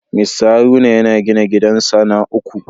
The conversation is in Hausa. Mr Haruna yana gina gidansa na uku